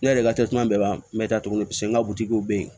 Ne yɛrɛ ka bɛɛ ban tuguni paseke n ka butigiw bɛ yen